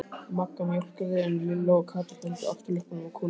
Magga mjólkaði en Lilla og Kata héldu afturlöppunum á kúnni.